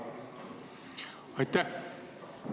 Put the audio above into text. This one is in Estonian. Aitäh!